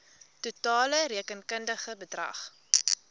totale rekenkundige bedrag